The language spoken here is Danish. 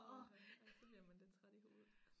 Åha ja så bliver man lidt træt i hovedet